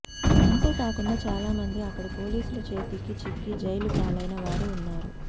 అంతేకాకుండా చాలామంది అక్కడి పోలీసుల చేతికి చిక్కి జైలు పాలైన వారు ఉన్నారు